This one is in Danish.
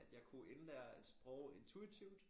Jeg kunne indlære et sprog intuitivt